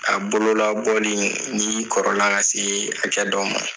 A bololabɔli n'i kɔrɔla ka se hakɛ dɔ ma